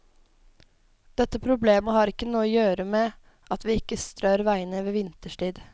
Dette problemet har ikke noe å gjøre med at vi ikke strør veiene vinterstid.